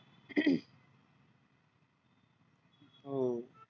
हो